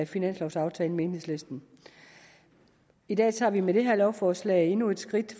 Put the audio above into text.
finanslovsaftalen med enhedslisten i dag tager vi med det her lovforslag endnu et skridt